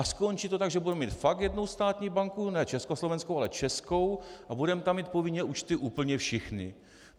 A skončí to tak, že budeme mít fakt jednu státní banku, ne československou, ale českou, a budeme tam mít povinně účty úplně všichni.